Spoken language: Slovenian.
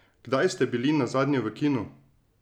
Kdaj ste bili nazadnje v kinu?